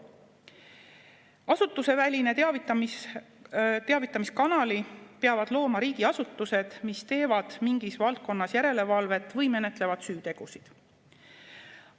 Asutusevälise teavitamiskanali peavad looma riigiasutused, mis teevad mingis valdkonnas järelevalvet või menetlevad süütegusid.